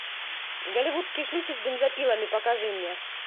голливудские шлюхи с бензопилами покажи мне